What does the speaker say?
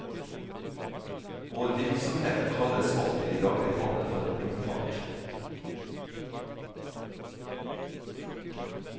Vår virksomhet kalles ofte i dagligtale for romfart.